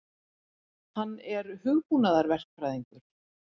Hann er hugbúnaðarverkfræðingur.